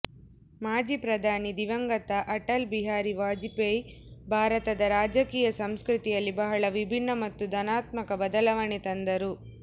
ಮಾಜಿ ಪ್ರಧಾನಿ ದಿವಂಗತ ಅಟಲ್ ಬಿಹಾರಿ ವಾಜಪೇಯಿ ಭಾರತದ ರಾಜಕೀಯ ಸಂಸ್ಕೃತಿಯಲ್ಲಿ ಬಹಳ ವಿಭಿನ್ನ ಮತ್ತು ಧನಾತ್ಮಕ ಬದಲಾವಣೆ ತಂದರು